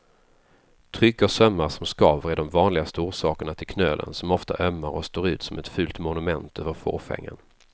Tryck och sömmar som skaver är de vanligaste orsakerna till knölen som ofta ömmar och står ut som ett fult monument över fåfängan.